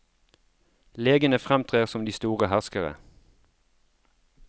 Legene fremtrer som de store herskere.